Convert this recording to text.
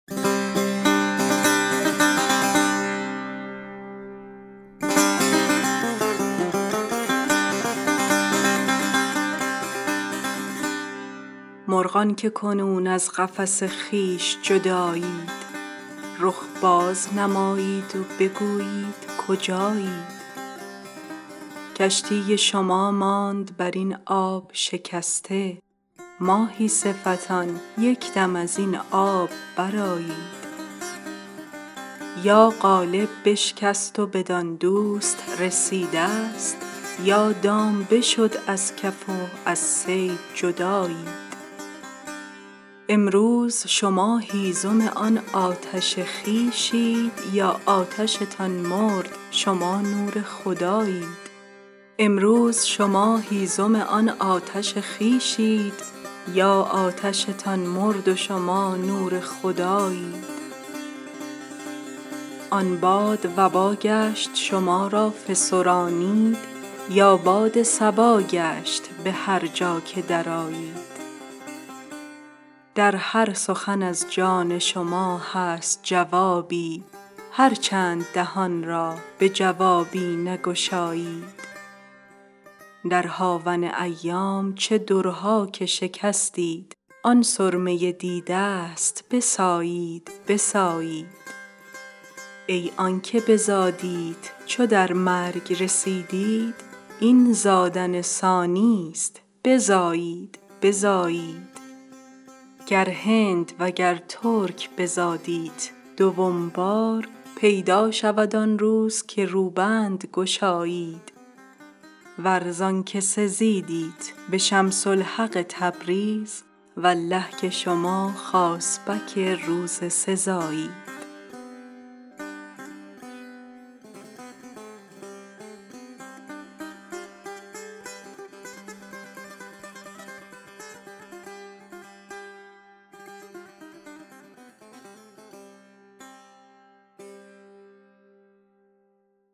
مرغان که کنون از قفس خویش جدایید رخ باز نمایید و بگویید کجایید کشتی شما ماند بر این آب شکسته ماهی صفتان یک دم از این آب برآیید یا قالب بشکست و بدان دوست رسیدست یا دام بشد از کف و از صید جدایید امروز شما هیزم آن آتش خویشید یا آتشتان مرد شما نور خدایید آن باد وبا گشت شما را فسرانید یا باد صبا گشت به هر جا که درآیید در هر سخن از جان شما هست جوابی هر چند دهان را به جوابی نگشایید در هاون ایام چه درها که شکستید آن سرمه دیدست بسایید بسایید ای آنک بزادیت چو در مرگ رسیدید این زادن ثانیست بزایید بزایید گر هند وگر ترک بزادیت دوم بار پیدا شود آن روز که روبند گشایید ور زانک سزیدیت به شمس الحق تبریز والله که شما خاصبک روز سزایید